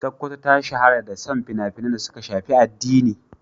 Sokoto ta shahara da son fina-finan da suka shafi addini.